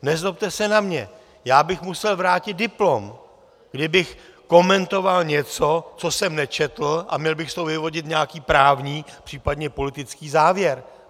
Nezlobte se na mě, já bych musel vrátit diplom, kdybych komentoval něco, co jsem nečetl, a měl bych z toho vyvodit nějaký právní, případně politický závěr.